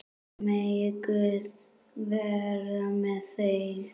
Megi Guð vera með þeim.